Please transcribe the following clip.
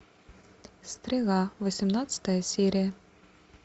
стрела восемнадцатая серия